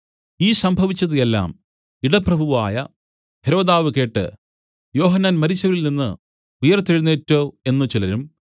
ഈ സംഭവിച്ചത് എല്ലാം ഇടപ്രഭുവായ ഹെരോദാവ് കേട്ട് യോഹന്നാൻ മരിച്ചവരിൽ നിന്നു ഉയിർത്തെഴുന്നേറ്റു എന്നു ചിലരും